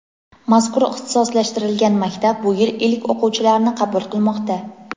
Mazkur ixtisoslashtirilgan maktab bu yil ilk o‘quvchilarini qabul qilmoqda.